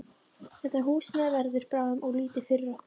Þetta húsnæði verður bráðum of lítið fyrir okkur.